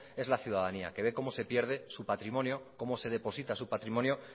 es la ciudadanía que ve cómo se pierde su patrimonio cómo se deposita su patrimonio